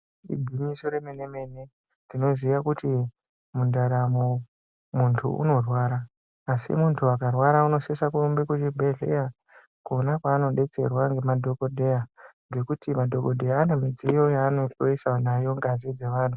Igwinyoso remene mene tinoziya kuti mundaramo muntu unorwara asi muntu akarwara unosisa kuenda kuchibhedhleya kwona kwaanodetserwa nemadhokodheya, ngekuti nadhokodheya vane midziyo yavanohloyesa nayo ngazi dzevantu.